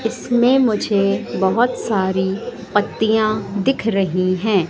इसमें मुझे बहोत सारी पत्तियां दिख रही हैं।